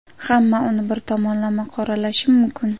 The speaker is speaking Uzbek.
Hamma uni bir tomonlama qoralashi mumkin.